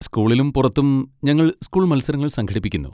സ്കൂളിലും പുറത്തും ഞങ്ങൾ സ്കൂൾ മത്സരങ്ങൾ സംഘടിപ്പിക്കുന്നു.